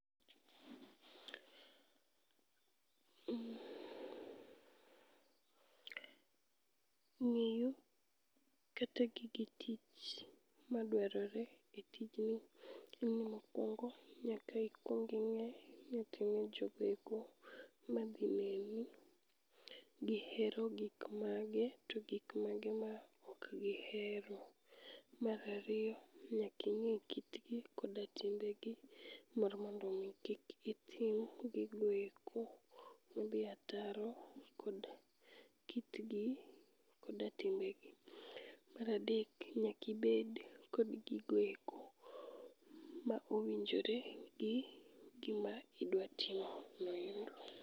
Ng'eyo, kata gige tich madwarore e tijni en ni mokwongo nyaka ikwonging'e niting'o jogoeko madhi neni. Gihero gik mage to gik mage ma ok gihero. Marariyo, nyaking'e kitgi koda timbegi mar mondo mi kik itim gigoeko modhi ataro kod kitgi koda timbegi. Maradek, nyakibed kod gigoeko ma owinjore gi gima idwatimo noendo.